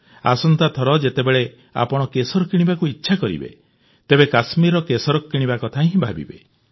ଆସନ୍ତାଥର ଯେତେବେଳେ ଆପଣ କେଶର କିଣିବାକୁ ଇଚ୍ଛା କରିବେ ତେବେ କଶ୍ମୀରର କେଶର କିଣିବା କଥା ହିଁ ଭାବିବେ